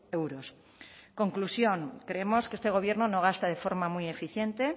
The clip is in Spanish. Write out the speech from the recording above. euros conclusión creemos que este gobierno no gasta de forma muy eficiente